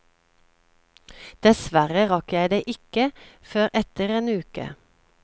Dessverre rakk jeg det ikke før etter en uke.